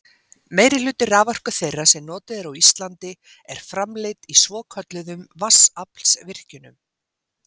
meirihluti raforku þeirrar sem notuð er á íslandi er framleidd í svokölluðum vatnsaflsvirkjunum